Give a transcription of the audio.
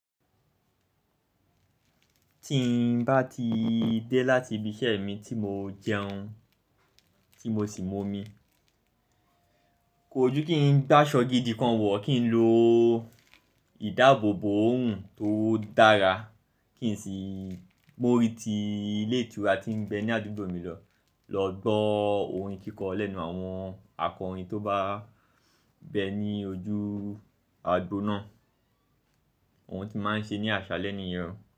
Tí n bá ti dé láti ibi iṣẹ́ mi tí mo jẹun, tí mo sì momi, kò jú kí n gbáṣọ̀ gidi kan wọ̀, kí n lo ìdábòbò òòrùn tó dára, kí n sì mórí ti ilé ìtura tí n bẹ ní àdúgbò mi lọ, lọ gbọ́ orin kíkọ lẹ́nu àwọn akọrin tó bá bẹ ní ojú agbo náà, ohun tí máa ń ṣe ní àṣàle ni yen o.